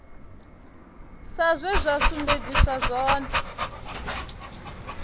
sa zwe zwa sumbedziswa zwone